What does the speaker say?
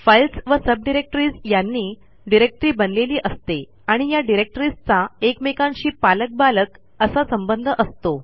files व subdirectories यांनी directory बनलेली असते आणि या डिरेक्टरीजचा एकमेकांशी पालक बालक असा संबंध असतो